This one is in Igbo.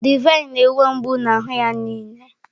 Divine na-enwe mgbu n'ahụ ya niile.